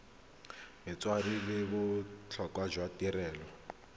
metswedi le botlhokwa jwa tirelo